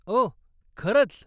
ओह, खरंच?